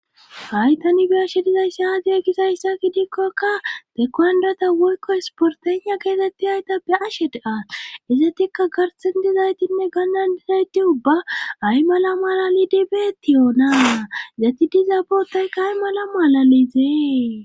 haytani beyashe dizaysse aadiya gisayssa ki dikkokka tekuhandrata woykko esportenha geetetti hayta be ashe dea izatikka garsen dizaytinne gannandizayti ubba ay mala mala lidibeettiyoonaa zati dizaa boottaykka ay mala maalalizee